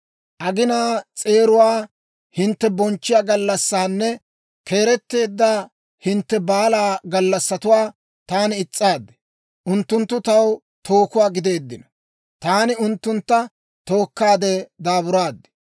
Aginaa s'eeruwaa hintte bonchchiyaa gallassaanne keeretteedda hintte baalaa gallassatuwaa taani is's'aad; unttunttu taw tookuwaa gideeddino; taani unttuntta tookkaadde daaburaad.